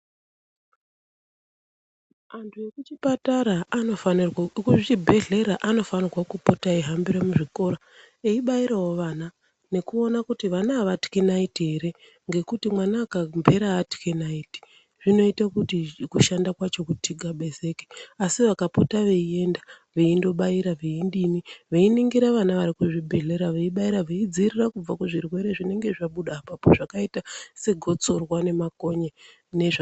Antu ekuchipatara anofanirwa ,ekuzvibhedhleya anofanira kupota eihambira muzvikora eibairawo vana nekuona kuti vana avatywi naiti ere, ngekuti mwana akamhera atywe naiti zvinoita kuti kushanda kwacho kuthikazebeke, asi vakapota veienda vaindobaira ,veidini, veiningira vana vari kuzvibhedhlera, veibaira, veidzivirira kubva kuzvirwere zvinenge zvabuda apapo zvakaita segotsorwa nemakonye.